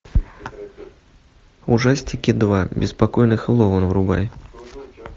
ужастики два беспокойный хэллоуин врубай